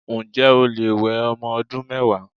Ǹjé̩ o lè we o̩mo̩ odún mé̩wàá?